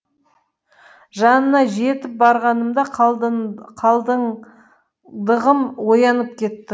жанына жетіп барғанымда қалдыңдығым оянып кетті